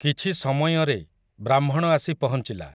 କିଛି ସମୟଁରେ ବ୍ରାହ୍ମଣ ଆସି ପହଞ୍ଚିଲା ।